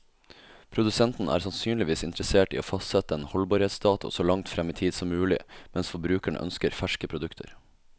Produsenten er sannsynligvis interessert i å fastsette en holdbarhetsdato så langt frem i tid som mulig, mens forbruker ønsker ferske produkter.